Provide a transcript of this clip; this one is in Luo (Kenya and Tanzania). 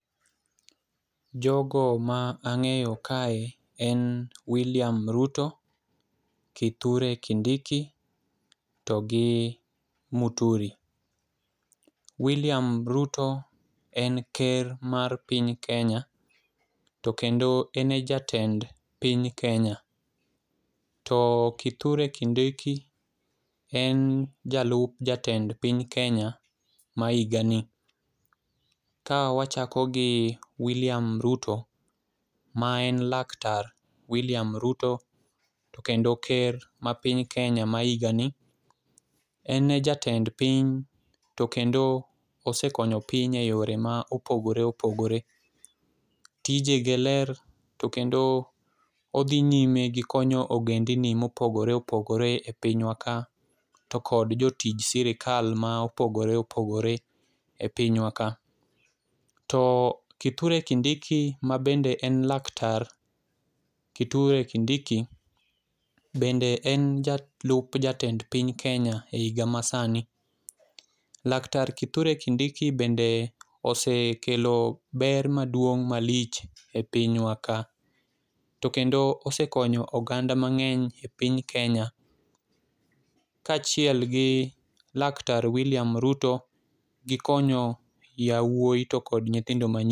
Jogo ma ang'eyo kae en William Ruto, Kithure Kindiki togi Muturi. William Ruto en ker mar piny Kenya to kendo en e jatend piny Kenya, to Kithure Kindiki en jalup jatend piny Kenya ma higani. Kawachako gi William Ruto ma en Laktar William Ruto, kendo ker ma piny kenya ma higani, en e jatend piny, to kendo osekonyo piny e yore ma opogore opogore. Tijege ler to kendo odhi nyime gi konyo ogendni mopogore opogore e pinywa ka, to kod jotij sirikal ma opogore opogore e pinywa ka. To Kithure Kindiki mabende en laktar Kithure Kindiki bende en jalup jatend piny Kenya e higa masani. Laktar Kithure Kindiki bende osekelo ber maduong' malich e pinywa ka, to kendo osekonyo oganda ,mang'eny epiny Kenya kaachiel gi laktar William Ruto gi konyo yawuoyi to kod nyithindo manyiri.